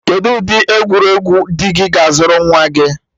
Kedu ụdị egwuregwu di gị ga-azụrụ nwa gị?